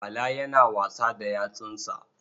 Bala yana wasa da yatsunsa.